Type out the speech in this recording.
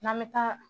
N'an bɛ taa